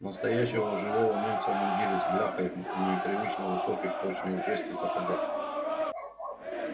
настоящего живого немца в мундире с бляхой в непривычно высоких точно из жести сапогах